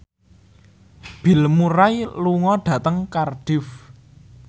Bill Murray lunga dhateng Cardiff